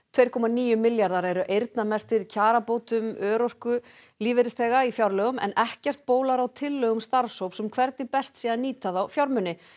tvö komma níu milljarðar eru eyrnamerktir í kjarabætur örorkulífeyrisþegum í fjárlögum en ekkert bólar á tillögum starfshóps um hvernig best nýta þá fjármuni